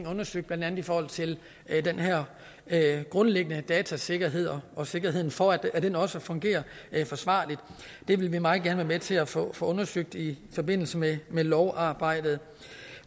undersøgt blandt andet i forhold til den her grundlæggende datasikkerhed og sikkerheden for at den også fungerer forsvarligt det vil vi meget gerne være med til at få få undersøgt i forbindelse med lovarbejdet